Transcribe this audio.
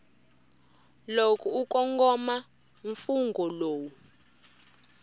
loko u kongoma mfungho lowu